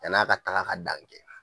Yann' a ka taga ka dan kɛ